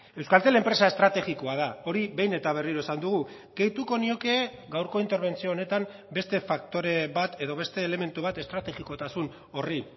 euskaltel enpresa estrategikoa da hori behin eta berriro esan dugu gehituko nioke gaurko interbentzio honetan beste faktore bat edo beste elementu bat estrategikotasun horri